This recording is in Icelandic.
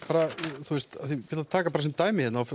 nú taka bara sem dæmi ef